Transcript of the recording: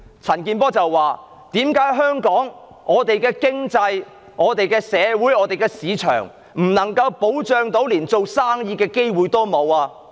陳健波議員問："為何在香港，我們的經濟、社會和市場不受保障，連做生意的機會都沒有？